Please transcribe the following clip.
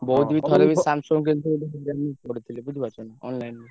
ବହୁତ୍ ବି ଥରେ Samsung କିନିଥିଲି ହଇରାଣ ରେ ପଡିଥିଲି ବୁଝି ପାରୁଛ ନା online ରେ।